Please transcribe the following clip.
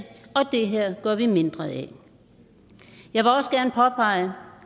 og det her gør vi mindre af jeg vil også gerne påpege